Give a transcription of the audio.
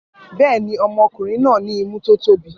Bẹ́ẹ̀ ni, ọmọkùnrin náà ní imú tó tóbi.